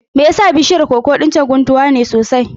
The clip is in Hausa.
Me yasa bishiyar koko ɗin can guntuwa ce sosai?